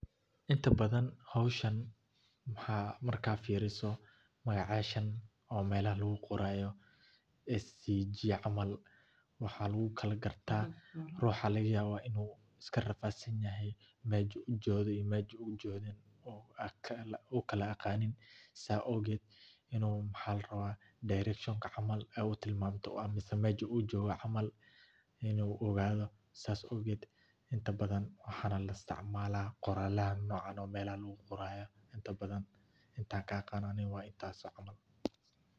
Inta badan howshan markaad firiso meelaha lagu qoraayo waxa laga yaaba inaad mesha aad kala aqoonin, inta badan qoralaha noocan ayaa la isticmaala.